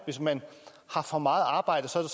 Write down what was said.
hvis man har for meget arbejde får